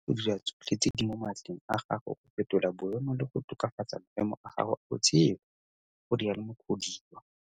O tshwanetse go dira tsotlhe tse di mo matleng a gago go fetola boemo le go tokafatsa maemo a gago a botshelo, go rialo Mukhodiwa.